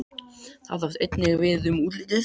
Það átti einnig við um útlitið.